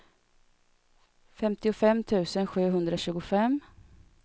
femtiofem tusen sjuhundratjugofem